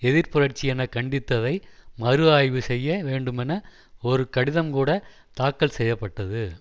எதிர்ப்புரட்சி என கண்டித்ததை மறுஆய்வு செய்ய வேண்டுமென ஒரு கடிதம் கூட தாக்கல் செய்ய பட்டது